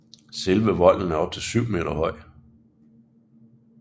Selve volden er op til syv meter høj